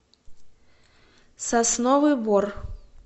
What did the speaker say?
сосновый бор